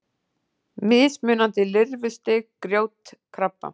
Mismunandi lirfustig grjótkrabba.